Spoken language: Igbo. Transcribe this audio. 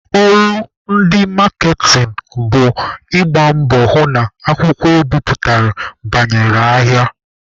Ọrụ ndị maaketịn bụ ịgba mbọ hụ na akwụkwọ ebiputere banyere ahịa.